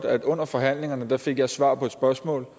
at under forhandlingerne fik jeg et svar på et spørgsmål og